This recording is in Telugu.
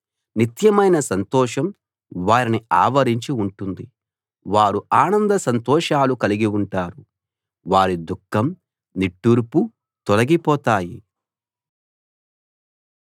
నిత్యమైన సంతోషం వారిని ఆవరించి ఉంటుంది వారు ఆనంద సంతోషాలు కలిగి ఉంటారు వారి దుఃఖం నిట్టూర్పు తొలగిపోతాయి